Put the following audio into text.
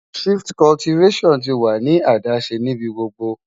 Shift Cultivation tí wà ní adáṣẹ́ níbí gbogbo